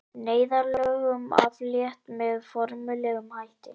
Neyðarlögum aflétt með formlegum hætti